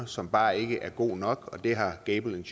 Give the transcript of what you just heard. som bare ikke er god nok og det har gable